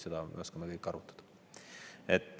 Seda me oskame kõik arvutada.